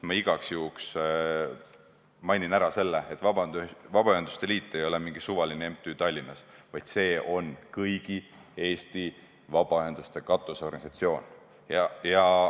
Ma igaks juhuks mainin ära, et Vabaühenduste Liit ei ole mingi suvaline MTÜ Tallinnas, vaid see on kõigi Eesti vabaühenduste katusorganisatsioon.